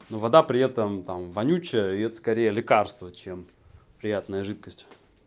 ну вода при этом там вонючие и это скорее лекарство чем приятная жидкость